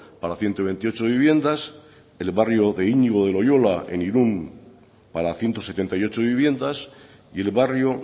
para ciento veintiocho viviendas el barrio de iñigo de loyola en irún para ciento setenta y ocho viviendas y el barrio